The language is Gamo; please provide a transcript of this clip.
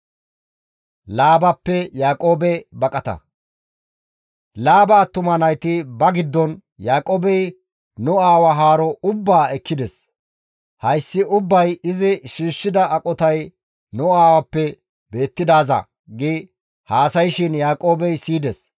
Laaba attuma nayti ba giddon, «Yaaqoobey nu aawa haaro ubbaa ekkides; hayssi ubbay izi shiishshida aqotay nu aawappe beettidaaza» gi haasayshin Yaaqoobey siyides.